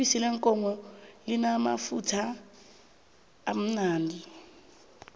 ibisi leenkomo limamafutha limnandi